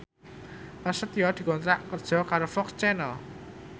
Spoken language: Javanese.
Prasetyo dikontrak kerja karo FOX Channel